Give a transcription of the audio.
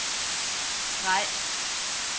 streg